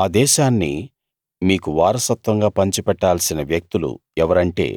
ఆ దేశాన్నిమీకు వారసత్వంగా పంచి పెట్టాల్సిన వ్యక్తులు ఎవరంటే